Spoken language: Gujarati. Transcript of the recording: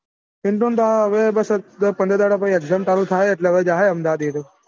પીન્ટુ હવે દસ પંદર દહ્ડા પછી exam ચાલુ થાશે એટલે હવે જાહે અમદાવાદ એ રયો